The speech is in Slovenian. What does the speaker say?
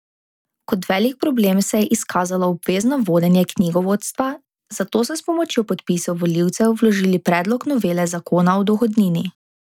Kot velik problem se je izkazalo obvezno vodenje knjigovodstva, zato so s pomočjo podpisov volivcev vložili predlog novele zakona o dohodnini.